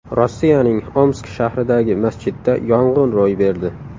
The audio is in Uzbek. Rossiyaning Omsk shahridagi masjidda yong‘in ro‘y berdi.